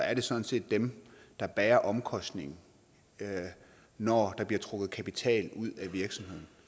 er det sådan set dem der bærer omkostningen når der bliver trukket kapital ud af virksomheden